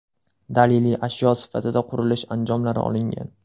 Daliliy ashyo sifatida qurilish anjomlari olingan.